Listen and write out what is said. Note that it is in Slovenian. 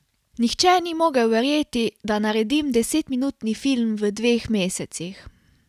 Nihče ni mogel verjeti, da naredim desetminutni film v dveh mesecih.